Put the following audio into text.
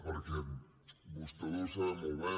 perquè vostè ho deu saber molt bé